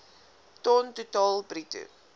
ton totaal bruto